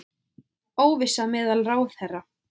Óvissa meðal ráðherra